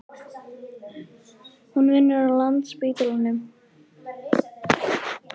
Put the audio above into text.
Hún vinnur á Landspítalanum.